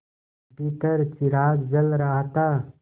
भीतर चिराग जल रहा था